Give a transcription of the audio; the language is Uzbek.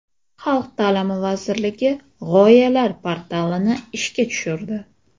Xalq ta’limi vazirligi g‘oyalar portalini ishga tushirdi.